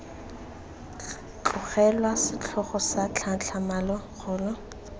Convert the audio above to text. tlogelwa setlhogo sa tlhatlhamano kgolo